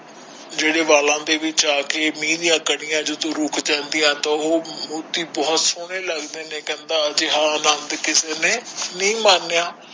ਜਿਹੜੇ ਵਾਲਾ ਦੇ ਵਿਚ ਆ ਕੇ ਮਹਿ ਡਾ ਕਾਨਿਆਂ ਰੁਕ ਜਾਂਦਾ ਉਹ ਮੋਤੀ ਬਹੁਤ ਸੋਹਣੇ ਲੱਗਦੇ ਕਹਿੰਦਾ ਹੈ ਜਾ ਆਨੰਦ ਕਿਸੇ ਨੇ ਨਹੀਂ ਮਾਪਿਆਂ